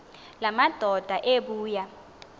la madoda ebuya